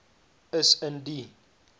is in die